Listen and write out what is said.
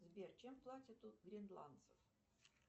сбер чем платят у гренландцев